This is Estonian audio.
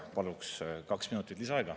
Paluks kaks minutit lisaaega.